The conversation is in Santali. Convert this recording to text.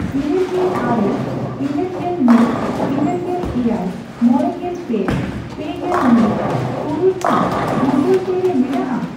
ᱤᱨᱟᱹᱞᱜᱮᱞ ᱟᱨᱮ, ᱤᱨᱟᱹᱞᱜᱮᱞ ᱢᱤᱫ, ᱤᱨᱟᱹᱞᱜᱮᱞ ᱮᱭᱟᱭ, ᱢᱚᱲᱮᱜᱮᱞ ᱯᱮ, ᱯᱮᱜᱮᱞ ᱢᱤᱫ, ᱛᱩᱨᱩᱭ ᱠᱤ ᱜᱩᱜᱚᱞ ᱯᱮ ᱨᱮ ᱢᱮᱱᱟᱜᱼᱟ ?